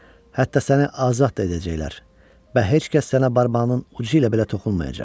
Hətta səni azad da edəcəklər və heç kəs sənə barmağının ucu ilə belə toxunmayacaq.